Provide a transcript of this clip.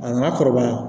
A nana kɔrɔbaya